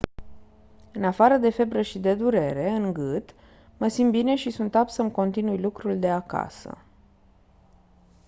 «în afară de febră și de durere în gât mă simt bine și sunt apt să-mi continui lucrul de acasă